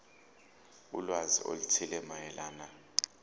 ulwazi oluthile mayelana